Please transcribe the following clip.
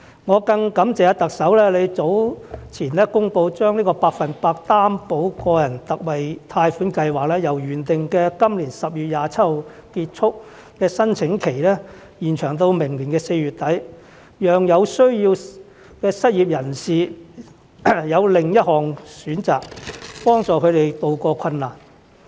我更感謝特首早前公布將百分百擔保個人特惠貸款計劃由原定今年10月27日結束的申請期，延長到明年4月底，讓有需要的失業人士有另一項選擇，幫助他們渡過困難。